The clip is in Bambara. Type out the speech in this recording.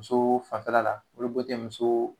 Muso fanfɛla la olu bɛɛ tɛ muso